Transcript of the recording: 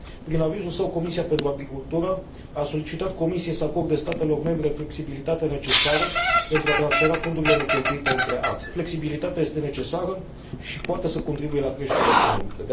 Prin avizul său, Comisia pentru agricultură a solicitat Comisiei să acorde statelor membre flexibilitatea necesară pentru a transfera fondurile necheltuite între axe. Această flexibilitate este necesară și poate să contribuie la creșterea economică.